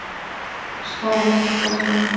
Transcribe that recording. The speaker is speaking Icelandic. Sparar ekki kraftana.